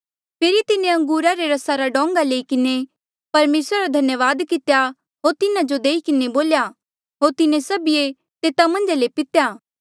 फेरी तिन्हें अंगूरा रे रसा रा डोंगा लई किन्हें परमेसरा रा धन्यावाद कितेया होर तिन्हा जो देई किन्हें बोल्या होर तिन्हें सभिऐ तेता मन्झा ले पितेया